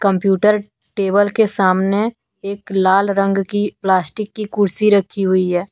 Computer table के सामने एक लाल रंग की प्लास्टिक की कुर्सी रखी हुई है।